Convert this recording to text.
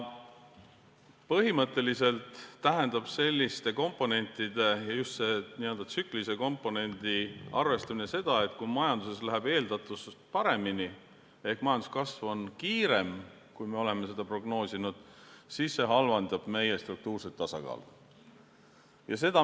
Põhimõtteliselt tähendab selliste komponentide ja just n-ö tsüklilise komponendi arvestamine seda, et kui majanduses läheb eeldatust paremini ehk majanduskasv on kiirem, kui me oleme prognoosinud, siis see halvendab struktuurset tasakaalu.